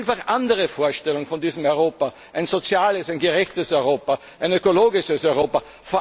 Wir haben vielfach andere Vorstellungen von diesem Europa ein soziales, ein gerechtes Europa, ein ökologisches